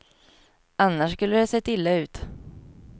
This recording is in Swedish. Annars skulle det ha sett illa ut.